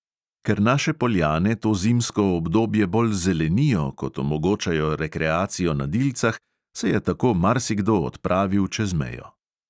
Ker naše poljane to zimsko obdobje bolj zelenijo kot omogočajo rekreacijo na dilcah, se je tako marsikdo odpravil čez mejo.